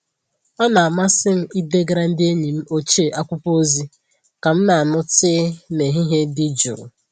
Ọ na-amasị m idegara ndị enyi m ochie akwụkwọ ozi ka m na-aṅụ tii n'ehihie dị jụụ.